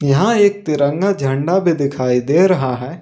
यहां एक तिरंगा झंडा भी दिखाई दे रहा है।